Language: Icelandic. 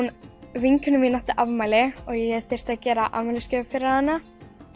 vinkona mín átti afmæli og ég þurfti að gera afmælisgjöf fyrir hana